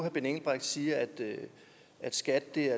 siger at skat